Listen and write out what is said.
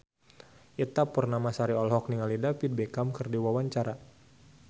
Ita Purnamasari olohok ningali David Beckham keur diwawancara